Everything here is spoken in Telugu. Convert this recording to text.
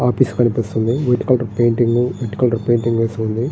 ఆఫీస్ కనిపిస్తుంది. White colour painting colour painting వేసుంది.